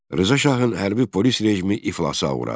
Rza Şahın hərbi polis rejimi iflasa uğradı.